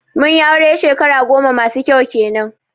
mun yi aure shekara goma masu kyau kenan